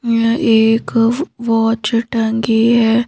यह एक वॉच टंगी है।